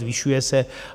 Zvyšuje se.